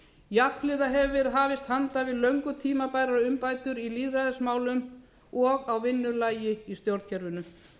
jafnhliða hefur verið hafist handa um löngu tímabærar umbætur í lýðræðismálum og á vinnulagi í stjórnkerfinu